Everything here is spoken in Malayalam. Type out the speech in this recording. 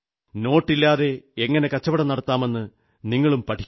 നോട്ടില്ലാതെ എങ്ങനെ കച്ചവടം നടത്താമെന്ന് നിങ്ങളും പഠിക്കൂ